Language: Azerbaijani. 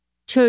Çöl.